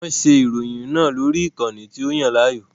Wọ́n ṣe ìròyìn náà lórí ìkànnì tí ó Yàn láàyò